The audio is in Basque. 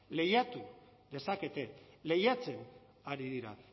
lehiatu dezakete lehiatzen ari dira